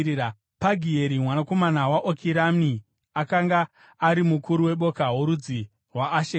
Pagieri mwanakomana waOkirani akanga ari mukuru weboka rorudzi rwaAsheri;